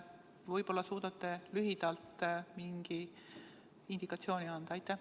Võib-olla suudate lühidalt mingi indikatsiooni anda.